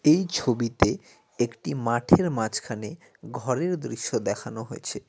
এই ছবিতে একটি মাঠের মাঝখানে ঘরের দৃশ্য দেখানো হয়েছে।